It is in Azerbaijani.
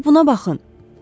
Bir buna baxın.